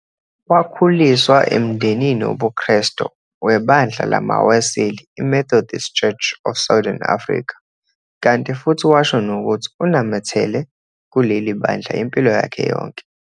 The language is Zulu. Wakhuliswa emndenini wobuKhresto webandla lamaWeseli i-Methodist Church of Southern Africa kanti futhi washo nokuthi unamethele kuleli bandla impilo yakhe yonke.